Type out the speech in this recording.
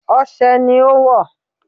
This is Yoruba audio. Ose ni ó wọ̀.